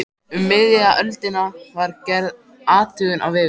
Um miðja öldina var gerð athugun á vegum